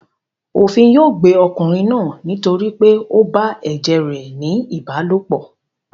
Òfin yóò gbé ọkùnrin náà nítorí pé ó bá ẹ̀jẹ̀ rẹ̀ ní ìbálòpọ̀.